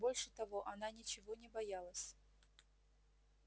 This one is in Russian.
больше того она ничего не боялась